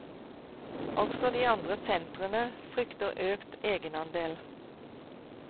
Også de andre sentrene frykter økt egenandel.